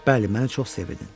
Bəli, məni çox sevirdin.